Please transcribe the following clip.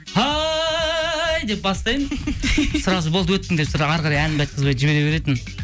деп бастаймын сразу болды өттің деп әрі қарай әнімді айтқызбай жібере беретін